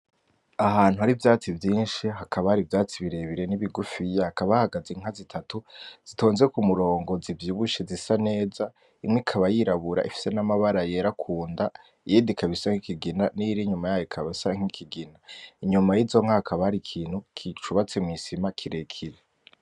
Ahantu hari ivyatsi vyishi hakaba hari n’ivyatsi birebire n’ibigufiya hakaba hahagaze inka zitatu zihagaze kumurongo z’ivyibushe zisa neza imwe ikaba yirabura ifise n’amabara yera kunda iyindi ikaba isa nk’ikigina, niyiri inyuma ikaba isa nk’ikigina inyuma yizo nka hakaba hari ikintu c’ubatse mwisima kirekire